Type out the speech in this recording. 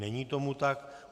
Není tomu tak.